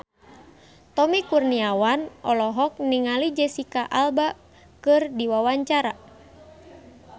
Tommy Kurniawan olohok ningali Jesicca Alba keur diwawancara